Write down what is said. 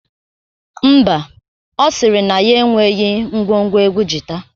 Ḿbà, Ọ sịrị na ya enweghi ngwo ngwo egwu jita